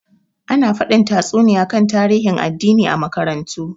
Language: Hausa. Ana faɗin tatsuniya kan tarihin addini a makarantu.